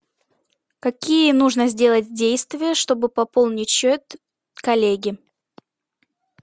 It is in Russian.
какие нужно сделать действия чтобы пополнить счет коллеге